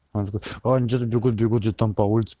бегу бегу где-то там по улице